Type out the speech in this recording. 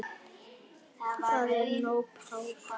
Það er nóg pláss.